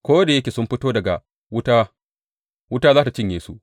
Ko da yake sun fito daga wuta, wuta za tă cinye su.